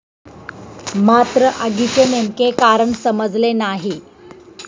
मात्र, आगीचे नेमके कारण समजले नाही.